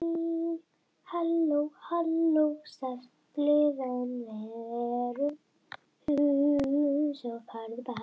Þetta er sterkt lið en við erum það líka.